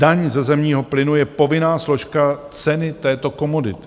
Daň ze zemního plynu je povinná složka ceny této komodity.